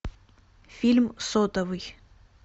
фильм сотовый